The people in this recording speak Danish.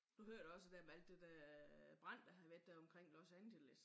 Du hørte også dér med alt det dér øh brand der havde været dér omkring Los Angeles